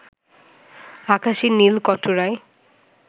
আকাশের নীল কটোরায়